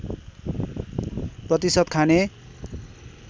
प्रतिशत खाने